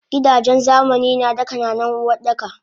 Gidajen zamani nada ka nanan Uwardaka